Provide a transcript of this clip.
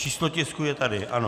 Číslo tisku je tady, ano.